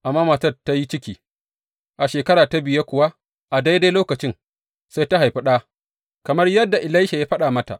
Amma matan ta yi ciki, a shekara ta biye kuwa a daidai lokacin, sai ta haifi ɗa kamar yadda Elisha ya faɗa mata.